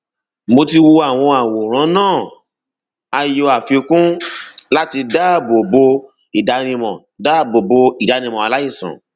mo ti wo àwọn àwòrán náà a yọ àfikún láti dáàbò bo ìdánimọ dáàbò bo ìdánimọ aláìsàn